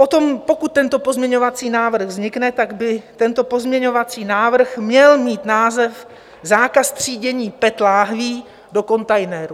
Potom, pokud tento pozměňovací návrh vznikne, tak by tento pozměňovací návrh měl mít název "Zákaz třídění PET láhví do kontejneru".